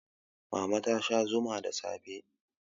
mama ta Sha Zuma da safe